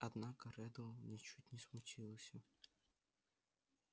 однако реддл ничуть не смутился